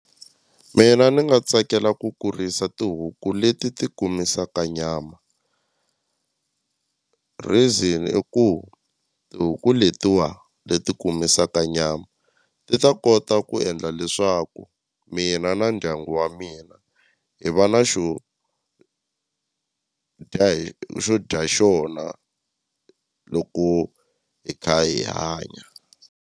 Mina ni nga tsakela ku kurisa tihuku leti ti kumisaka nyama reason i ku tihuku letiwa leti kumisaka nyama ti ta kona kota ku endla leswaku mina na ndyangu wa mina hi va na xo dya hi xo dya xona loko hi kha hi hanya.